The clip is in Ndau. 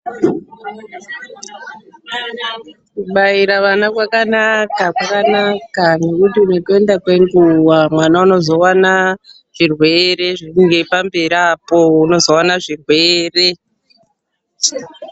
KUBAIRA ANA KWAKANAKA .KWAKANAKA NGEKUTI NEKUENDA KWENGUWA MWANA UNOZOWANA ZVIRWERE PAMBERI APO UNOZOWANA ZVIRWERE.